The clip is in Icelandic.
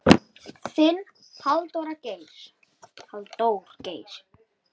Þinn, Halldór Geir.